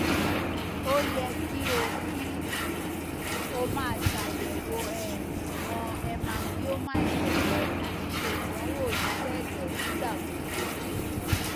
o yẹ ki o ki o maa ṣayẹwo um iwọn hemangioma ẹdọ rẹ ati ṣe idanwo iṣẹ ẹdọ nigbagbogbo